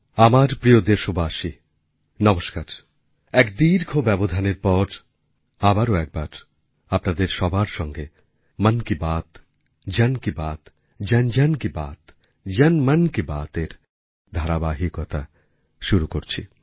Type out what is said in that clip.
আমার প্রিয় দেশবাসী নমস্কারএক দীর্ঘ ব্যবধানের পর আবারো একবার আপনাদের সবার সঙ্গে মন কি বাত জন কি বাত জনজন কি বাত জনমন কি বাতএর ধারাবাহিকতা শুরু করছি